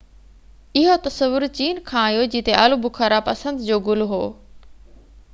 اهو تصور چين کان آيو جتي آلو بخارا پسند جو گل هو